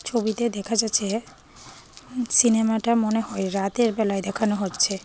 ছবিতে দেখা যাচ্ছে সিনেমাটা মনে হয় রাতের বেলায় দেখানো হচ্ছে।